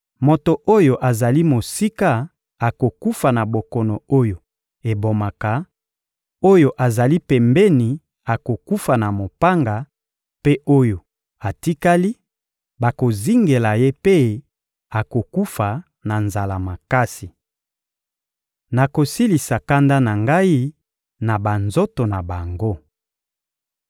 Moto oyo azali mosika akokufa na bokono oyo ebomaka, oyo azali pembeni akokufa na mopanga; mpe oyo atikali, bakozingela ye mpe akokufa na nzala makasi. Nakosilisa kanda na Ngai na banzoto na bango.